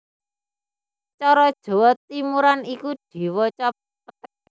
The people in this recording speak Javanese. Cara Jawa Timuran iku diwaca péték